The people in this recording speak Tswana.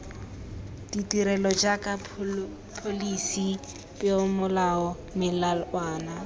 ditirelo jaaka pholisi peomolao melawana